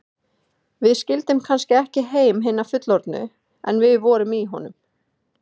Við skildum kannski ekki heim hinna fullorðnu, en við vorum í honum.